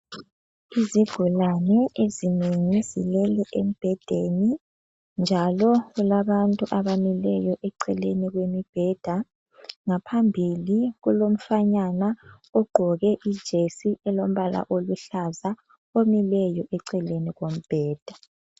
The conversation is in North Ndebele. Izigulane ezinengi zilele embhedeni, njalo kulabantu abamileyo eceleni kwemibheda. Ngaphambili kulomfanyana ogqoke ijesi elombala oluhlaza omileyo eceleni kombheda.